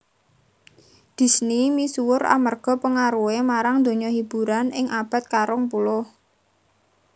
Disney misuwur amarga pengaruhé marang donya hiburan ing abad ka rong puluh